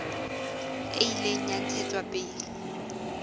e ile ya ntshetswa pele